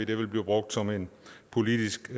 det vil blive brugt som en politisk